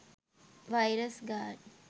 virus guard